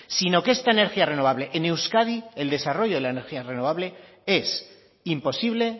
sino que esta energía renovable en euskadi el desarrollo de la energía renovable es imposible